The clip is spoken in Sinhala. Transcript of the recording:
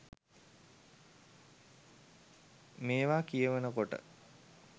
මේවා කියවනකොට